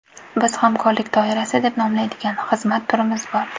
Biz hamkorlik doirasi deb nomlaydigan xizmat turimiz bor.